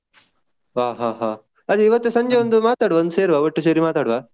ಹಾ ಹಾ ಹಾ ಅದೇ ಇವತ್ತು ಸಂಜೆ ಸೇರಿ ಒಂದು ಮಾತಾಡ್ವ ಒಂದು ಸೆರ್ವಾ ಒಟ್ಟು ಸೇರಿ ಮಾತಾಡ್ವ.